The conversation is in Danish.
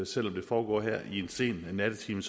selv om det foregår her i en sen nattetime